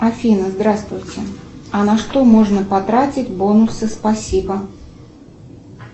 афина здравствуйте а на что можно потратить бонусы спасибо